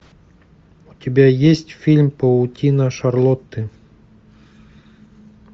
у тебя есть фильм паутина шарлотты